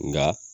Nka